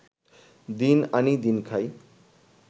দিন আনি দিন খাই